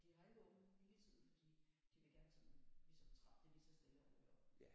De har ikke åbent hele tiden de de vil gerne sådan ligesom trappe det lige så stille og roligt op